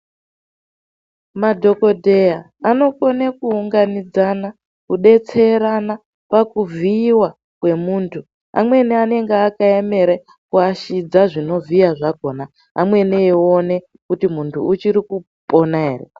Madhokodheya anokone kuunganidzana, kudetserana pakuvhiiwa kwemuntu amweni anenge akaemere kuashidza zvinovhiya zvakona , amweni eione kuti muntu uchiri kupona ere.